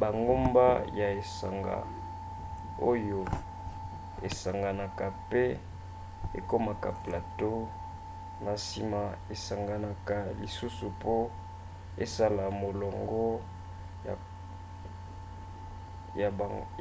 bangomba ya esanga oyo esanganaka mpe ekomaka plateau na nsima esanganaka lisusu po esala molongo